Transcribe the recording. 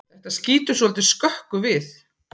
Þetta skýtur svolítið skökku við.